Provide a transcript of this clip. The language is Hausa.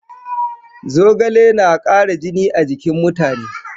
Zogale na ƙara jini a jikin mutane.